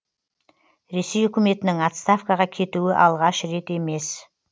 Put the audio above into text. ресей үкіметінің отставкаға кетуі алғаш рет емес